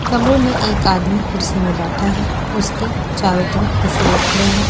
कमरे में एक आदमी कुर्सी में बैठा है उसके चारों तरफ कुछ लोग खड़े हैं।